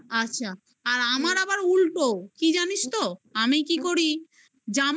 আচ্ছা আর আমার আবার উল্টো কি জানিস তো আমি কি করি